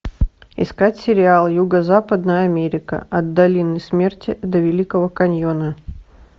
искать сериал юго западная америка от долины смерти до великого каньона